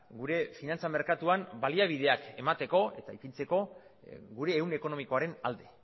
gure finantza merkatuan baliabideak emateko eta ipintzeko gure ehun ekonomikoaren alde